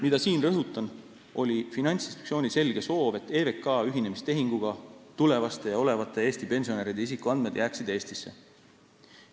Mida siin rõhutan, oli Finantsinspektsiooni selge soov, et EVK ühinemistehinguga tulevaste ja olevate Eesti pensionäride isikuandmed jääksid Eestisse.